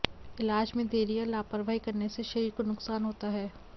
इलाज में देरी या लापरवाही करने से शरीर को नुकसान होता है